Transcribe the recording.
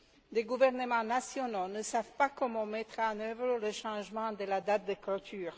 Les gouvernements nationaux ne savent pas comment mettre en œuvre le changement de la date de clôture.